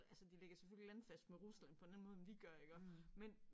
Altså de ligger selvfølgelig landfast med Rusland på en anden måde end vi gør iggå men